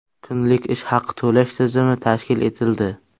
Kunlik ish haqi to‘lash tizimi tashkil etildi.